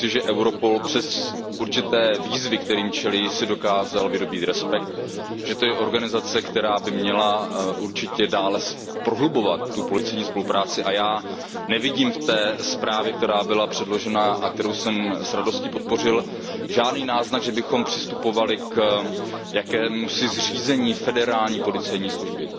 Myslím si, že Europol přes určité výzvy, kterým čelí, si dokázal vydobýt respekt, že to je organizace, která by měla určitě dále prohlubovat policejní spolupráci, a já nevidím v té zprávě, která byla předložena a kterou jsem s radostí podpořil, žádný náznak, že bychom přistupovali k jakémusi zřízení federální policejní služby.